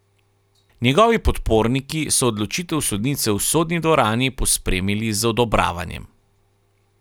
Njegovi podporniki so odločitev sodnice v sodni dvorani pospremili z odobravanjem.